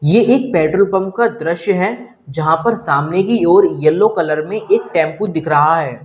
ये एक petrol pump का दृश्य है जहां पर सामने की ओर येलो कलर में एक टेंपो दिख रहा है।